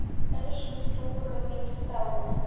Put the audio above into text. Elsku Dúra mín er dáin.